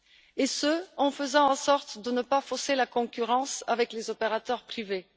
et ce en faisant en sorte de ne pas fausser la concurrence avec les opérateurs privés.